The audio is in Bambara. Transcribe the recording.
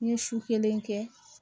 N ye su kelen kɛ